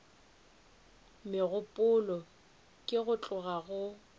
megopolo ke go tloga go